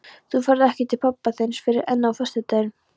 Þú ferð ekki til pabba þíns fyrr en á föstudaginn.